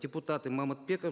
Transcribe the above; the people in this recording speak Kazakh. депутаты мамытбеков